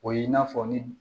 O ye i n'a fɔ ni